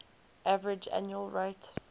average annual rate